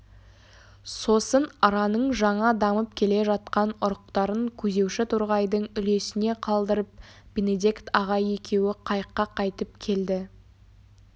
сосын араның жаңа дамып келе жатқан ұрықтарын көзеуші торғайдың үлесіне қалдырып бенедикт ағай екеуі қайыққа қайтып келді